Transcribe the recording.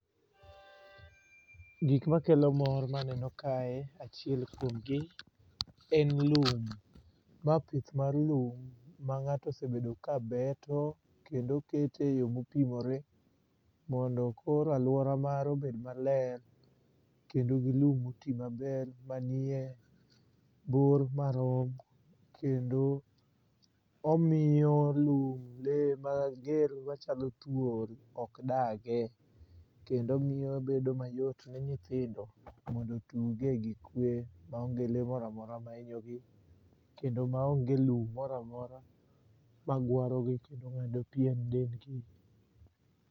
Gik makelo mor maneno kae achiel kuom gi en lum. Ma pith mar lum ma ng'ato osebedo kabeto kendo keto e yo mopimore mondo koro aluora mare obed maler kendo gi lum moti maber, manie bor marom kendo omiyo lum lee mager machalo thuol ok dagie. Kendo miyo bedo mayot ne nyithindo mondo otuge gi kwe maonge le moro amora mahinyogi kendo maonge lum moro amora magwarogi kendo ng'ado pien dendgi.